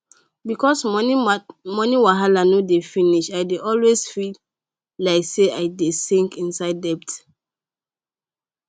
because moni wahala no dey finish i dey always feel like say i dey sink inside debt